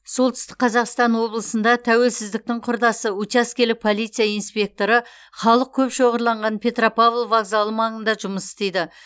солтүстік қазақстан облысында тәуелсіздіктің құрдасы учаскелік полиция инспекторы халық көп шоғырланған петропавл вокзалы маңында жұмыс істейді